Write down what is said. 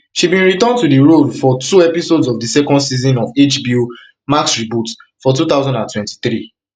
she bin return to di role for for two episodes of di second season of hbo max reboot for two thousand and twenty-three